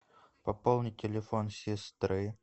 пополнить телефон сестры